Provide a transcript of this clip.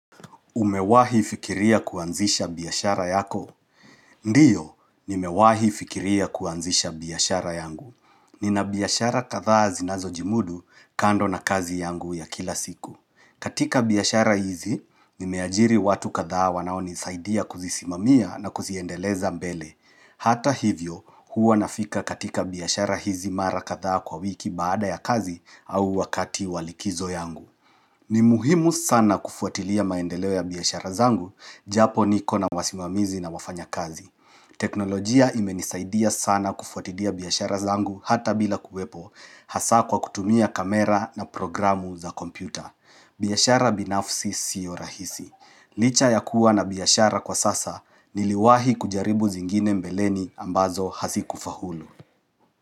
Umewahi fikiria kuanzisha biashara yako? Ndiyo, nimewahi fikiria kuanzisha biyashara yangu. Nina biashara kadhaa zinazojimudu kando na kazi yangu ya kila siku. Katika biashara hizi, nimeajiri watu kadhaa wanaonisaidia kuzisimamia na kuziendeleza mbele. Hata hivyo, huwa nafika katika biashara hizi mara kadhaa kwa wiki baada ya kazi au wakati wa likizo yangu. Ni muhimu sana kufuatilia maendeleo ya biashara zangu, japo niko na wasimamizi na wafanyakazi. Teknolojia imenisaidia sana kufuatilia biashara zangu hata bila kuwepo hasaa kwa kutumia kamera na programu za kompyuta. Biashara binafsi siyo rahisi. Licha ya kuwa na biashara kwa sasa niliwahi kujaribu zingine mbeleni ambazo hazikufaulu.